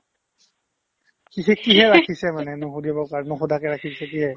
কি কি কিহে ৰাখিছে মানে নোসোধিবৰ কাৰণে নোসোধাকে ৰাখিছে কিহে ?